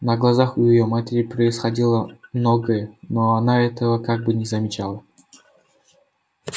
на глазах у её матери происходило многое но она этого как бы не замечала